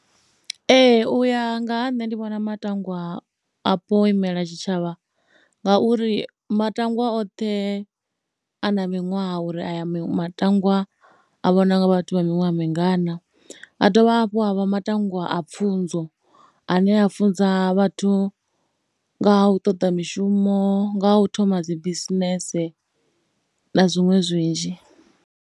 Ee u ya nga ha nṋe ndi vhona matangwaapo o imela tshitshavha ngauri matangwa oṱhe a na miṅwaha uri aya matangwa a vhonwa nga vhathu vha miṅwaha mingana, ha dovha hafhu a vha matangwa a pfhunzo ane a funza vhathu nga ha u ṱoḓa mishumo, nga u thoma dzi bisinese na zwiṅwe zwinzhi.